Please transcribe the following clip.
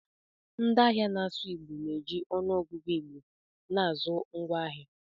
Ndị ahịa na-asụ Igbo na-eji ọnụọgụgụ Igbo na-azụ ngwaahịa.